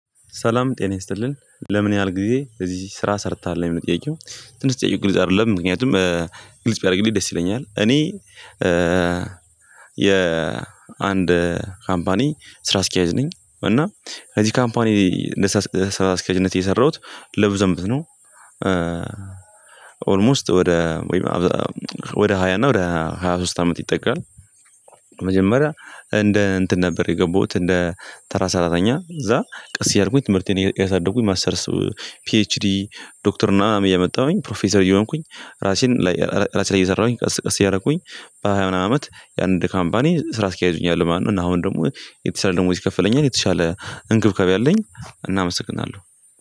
ሰላም ጤና ይስጥልን ለምን ያህል ጊዜ እዚህ ስራ ሰርታሀለ የሚል ጥይቄው? ትንሽ ጠይቄ ግልጽ አይደለም ምክንያቱም ግልጽ ቢያደርግልኝ ደስ ይለኛል። እኔ የአንድ ካምፓኒ ስራ አስኪያጅ ነኝ። እና እዚህ ካምፓኒ ስራ አስኪያጅነት የሰራሁት ለብዙ አመታት ነው። ኦልሞስት ወደ ወደ ሃያ እና ወደ ሃያ ሶስት አመት ይጠጋል። መጀመሪያ እንደ እንትን ነበር የገባሁት እንደ ተራ ሰራተኛ እዛ ቀስ እያልኩኝ ትምህርቴን እያሳደጉኝ ማሰተርስ ፒኤችዲ ዶክተር ምናምን እያመጣሁኝ ፕሮፌሰር እየሆንኩኝ ራሴን ራሴ ላይ እየሰራሁኝ ቀስ ቀስ እያረኩኝ በሃያ ምናምን አመት የአንድ ካምፓኒ ስራ አስኪያጅ ሆኛለው ማለት ነው። እና አሁን ደግሞ የተሻለ ደሞዝ ይከፈለኛል የተሻለ እንክብካቤ አለኝ። እና አመሰግናለሁ